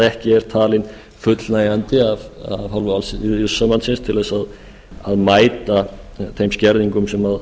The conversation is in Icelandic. ekki er talin fullnægjandi af hálfu alþýðusambandsins til að mæta þeim skerðingum sem